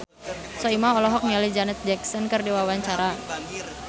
Soimah olohok ningali Janet Jackson keur diwawancara